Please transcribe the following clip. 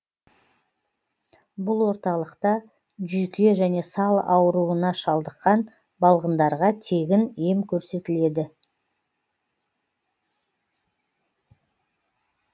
бұл орталықта жүйке және сал ауруына шалдыққан балғындарға тегін ем көрсетіледі